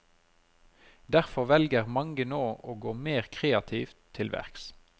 Derfor velger mange nå å gå mer kreativt til verks.